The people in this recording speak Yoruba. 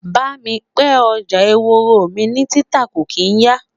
bá mí ní pẹ, ọjà ehoro ni títà kò kin ya